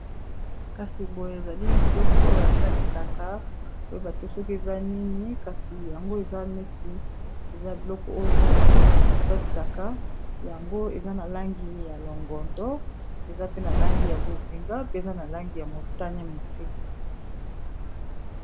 Kasi boye ezali biloko oyo basalisaka koyeba te soki eza nini kasi yango eza neti eza biloko oyo bana-kelasi basalisaka yango eza na langi ya longondo eza pe na langi ya bozinga pe eza na langi ya motane moke.